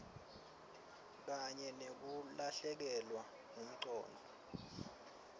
kanye nekulahlekelwa ngumcondvo